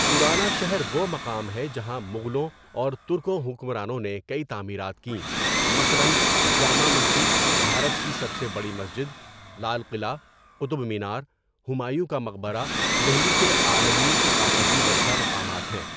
پرانا شہر وہ مقام ہے جہاں مغلوں اور ترکوں حکمرانوں نے کئی تعمیرات کیں مثلاً جامع مسجد بھارت کی سب سے بڑی مسجد ، لال قلعہ، قطب مینار، ہمایوں کا مقبرہ دہلی کے عالمی ثقافتی ورثہ مقامات ہیں.